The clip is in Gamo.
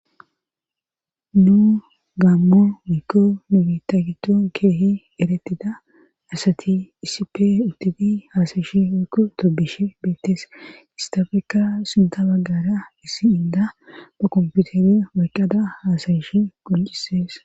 nu gaammo mikko nubita gitton keehi eretida asati isipe uttifi haasayishe woyko tobishe beettes istafeka sinta baggara issi inda ba komputere waqqada hasayishe quncisees